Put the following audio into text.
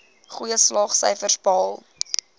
goeie slaagsyfers behaal